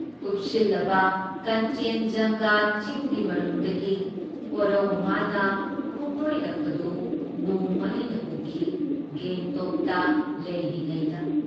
ꯀꯨꯞꯁꯤꯜꯂꯕ ꯀꯥꯟꯆꯦꯟꯖꯪꯒ ꯆꯤꯡꯒꯤ ꯃꯔꯨꯝꯗꯒꯤ ꯀꯣꯔꯧ ꯃꯥꯅ ꯈꯣꯡꯗꯣꯏꯔꯛꯄꯗꯨ ꯅꯣꯡꯃ ꯑꯩꯅ ꯎꯈꯤ ꯒꯦꯡꯇꯣꯛꯇ ꯂꯩꯔꯤꯉꯩꯗ ꯫